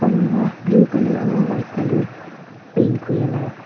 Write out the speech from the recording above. almara Blue colour aru white colour paint kori la--